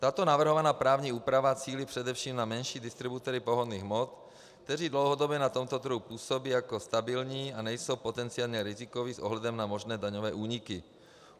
Tato navrhovaná právní úprava cílí především na menší distributory pohonných hmot, kteří dlouhodobě na tomto trhu působí jako stabilní a nejsou potenciálně rizikoví s ohledem na možné daňové úniky.